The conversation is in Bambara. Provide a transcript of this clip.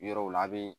Yɔrɔw la a bi